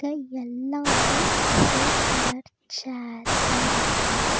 எல்லாமே ஒரே கலர் ஷேர்ஸா இருக்கு.